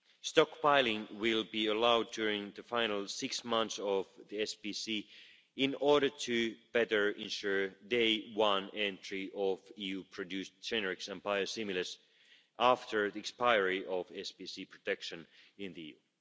Stockpiling will be allowed during the final six months of the SPC in order to better ensure day one entry of EU produced generics and biosimilars after the expiry of SPC protection in the